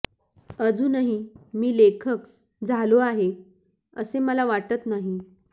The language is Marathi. अजूनही मी लेखक झालो आहे असे मला वाटत नाही